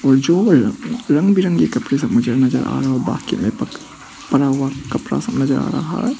रंग बिरंगे कपड़े सब मुझे नजर आ रहा है और बाकी पड़ा हुआ कपड़ा सब नजर आ रहा है।